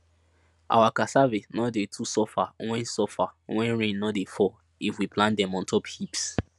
our cassave no dey too suffer when suffer when rain no dey fall if we plant dem on top heaps